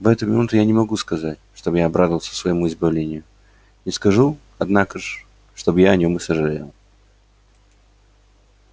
в эту минуту я не могу сказать чтоб я обрадовался своему избавлению не скажу однако ж чтоб я о нём и сожалел